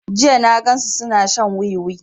Jiya na gan su suna shan wiwi